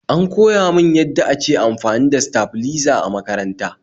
An koya min yadda ake amfani da saflizer a makaranta